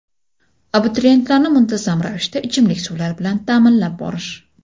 Abituriyentlarni muntazam ravishda ichimlik suvlari bilan ta’minlab borish.